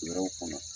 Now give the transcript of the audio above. Wɛrɛw kɔnɔ